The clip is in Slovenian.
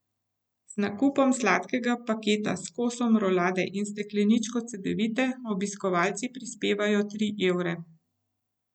Z nakupom sladkega paketa s kosom rolade in stekleničko Cedevite obiskovalci prispevajo tri evre.